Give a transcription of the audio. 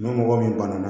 Ni mɔgɔ min bana na